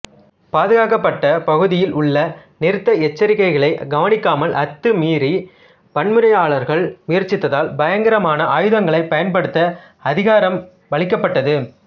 பாதுகாக்கப்பட்ட பகுதியில் உள்ள நிறுத்த எச்சரிக்கைகளை கவனிக்காமல் அத்துமீற வன்முறையாளர்கள் முயற்சித்தால் பயங்கரமான ஆயுதங்களைப் பயன்படுத்த அதிகாரமளிக்கப்பட்டுள்ளது